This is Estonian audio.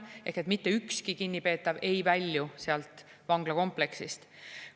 Ehk mitte ükski kinnipeetav ei välju sealt vanglakompleksist.